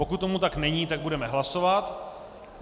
Pokud tomu tak není, tak budeme hlasovat.